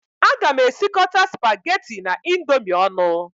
Aga m esikọta spaghetti na Indomie ọnụ